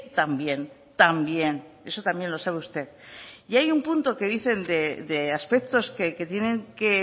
también también eso también lo sabe usted y hay un punto que dicen de aspectos que tienen que